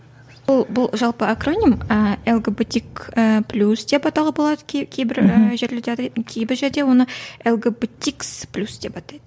ол бұл жалпы ы лгбтик ііі плюс деп атауға болады кей кейбір жерлерде кейбір жерде оны лгбтикс плюс деп атайды